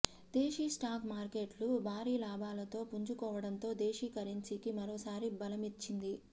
దేశీ stock మార్కెట్లు భారీ లాభాలతో పుంజుకోవడంతో దేశీ కరెన్సీకి మరోసారి బలమొచ్చింది